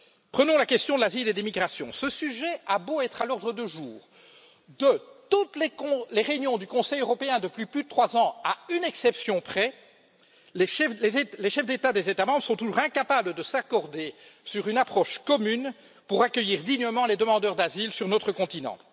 Prenons la question de l'asile et de l'immigration ce sujet a beau être à l'ordre du jour de toutes les réunions du Conseil européen depuis plus de 3 ans à une exception près les chefs d'État des États membres sont toujours incapables de s'accorder sur une approche commune pour accueillir dignement les demandeurs d'asile sur notre continent.